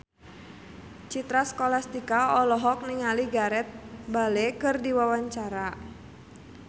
Citra Scholastika olohok ningali Gareth Bale keur diwawancara